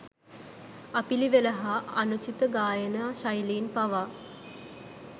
අපිළිවෙල හා අනුචිත ගායනා ශෛලීන් පවා